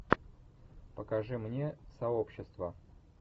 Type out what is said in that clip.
покажи мне сообщество